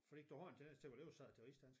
Fordi du har en tendens til at oversætte til rigsdansk